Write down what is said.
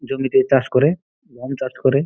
জমিতে চাষ করে গম চাষ করে--